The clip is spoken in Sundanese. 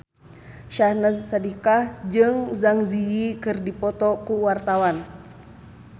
Syahnaz Sadiqah jeung Zang Zi Yi keur dipoto ku wartawan